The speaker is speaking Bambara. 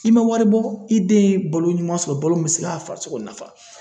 I ma wari bɔ i den ye balo ɲuman sɔrɔ ,balo mun be se ka farisoko nafa.